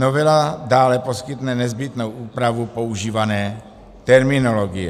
Novela dále poskytne nezbytnou úpravu používané terminologie.